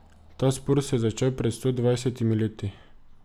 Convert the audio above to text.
Ta spor se je začel pred sto dvajsetimi leti.